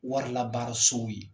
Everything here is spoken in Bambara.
Warilabaasow ye